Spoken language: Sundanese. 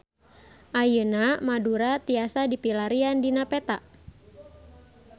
Ayeuna Madura tiasa dipilarian dina peta